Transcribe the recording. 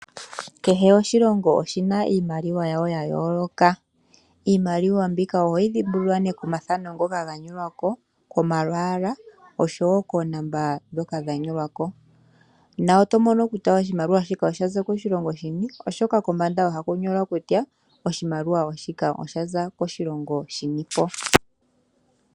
Kehe oshilongo oshina iimaliwa yawo yayooloka, iimaliwa mbika ohoyi dhimbulula komathano ngoka gathanekwa ko ,komalwaala osho wo koonomola dhoka dhanyolwa ko, na oto mono kutya oshimaliwa osha za koshilongo shini, oshoka kombanda oha ku nyolwa kutya oshimaliwa oshaza koshilongo shinipo.